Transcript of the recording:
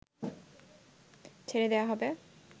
ছেড়ে দেওয়া হবে